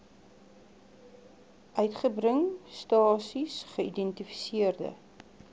uitgebring stasies geïdentifiseerde